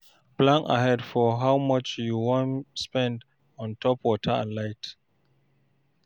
Plan ahead for how much you wan spend ontop water and light